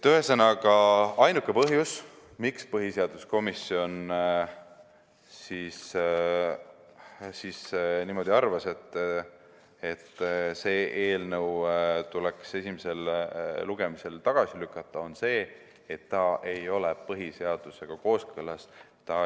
Ühesõnaga, ainuke põhjus, miks põhiseaduskomisjon arvas niimoodi, et see eelnõu tuleks esimesel lugemisel tagasi lükata, on see, et see ei ole põhiseadusega kooskõlas.